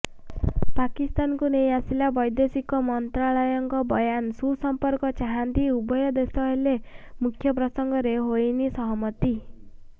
ପାକିସ୍ତାନକୁ ନେଇ ଆସିଲା ବୈଦେଶିକ ମନ୍ତ୍ରାଳୟଙ୍କ ବୟାନ ସୁସମ୍ପର୍କ ଚାହାନ୍ତି ଉଭୟ ଦେଶ ହେଲେ ମୁଖ୍ୟ ପ୍ରସଙ୍ଗରେ ହୋଇନି ସହମତି